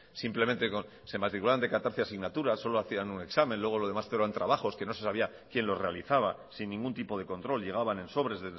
simplemente se matriculaban de catorce asignaturas solo hacían un examen luego lo demás eran trabajos que no se sabía quien los realizaba sin ningún tipo de control llegaban en sobres